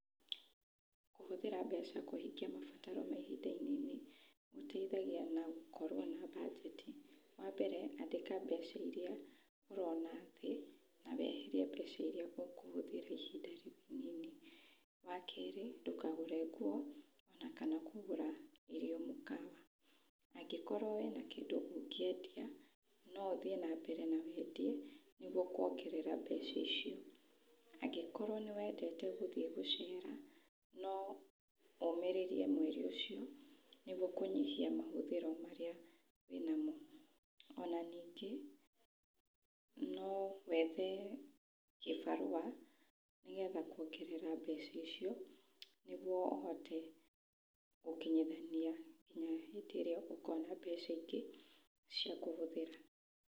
Kũhũthira mbeca kũhingia mabataro ma ihinda inini gũteithagia na gũkorwo na budget. Wa mbere andĩka mbeca iria ũrona na weherie mbeca iria ũkũhũthĩra ihinda rĩnini. Wa kerĩ ndũkagũre nguo na kana kũgũra irio mĩkawa., andĩkorwo wĩna kĩndũ ũngĩendia no ũthiĩ na mbere na wendie nĩguo kuongerera mbeca icio. Angĩkorwo nĩ wendete gũthiĩ gũcera no ũmĩrĩrie mweri ũcio nĩguo kũnyihia mahũthĩro marĩa wĩnamo. Ona ningĩ no wethe gĩbarũa nĩguo kũongerera mbeca icio nĩguo ũhote gũkinyithania nginya hindĩ ĩrĩa ũkona mbeca ingĩ cia kũhũthĩra.